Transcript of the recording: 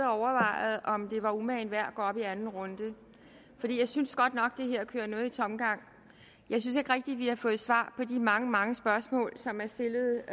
overvejet om det var umagen værd at gå op i anden runde for jeg synes godt nok her kører noget i tomgang jeg synes ikke rigtig at vi har fået svar på de mange mange spørgsmål som er stillet